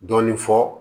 Dɔɔnin fɔ